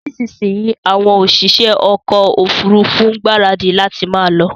Nísinsìnyí àwọn òṣìṣẹ́ ọkọ ofurufu ń gbaradi láti máa lọ